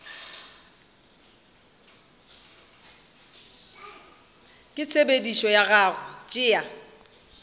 ka tshepedišo ya go tšea